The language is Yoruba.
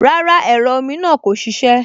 Rárá, ẹ̀rọ omi náà kò ṣiṣẹ́